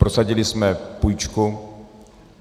Prosadili jsme půjčku.